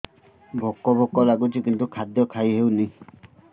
ଭୋକ ଭୋକ ଲାଗୁଛି କିନ୍ତୁ ଖାଦ୍ୟ ଖାଇ ହେଉନି